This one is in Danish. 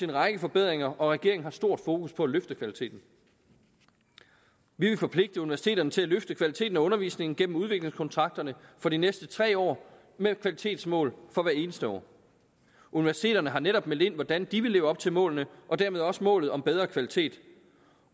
en række forbedringer og regeringen har stort fokus på at løfte kvaliteten vi vil forpligte universiteterne til at løfte kvaliteten af undervisningen gennem udviklingskontrakterne for de næste tre år med kvalitetsmål for hvert eneste år universiteterne har netop meldt ind hvordan de vil leve op til målene og dermed også målet om bedre kvalitet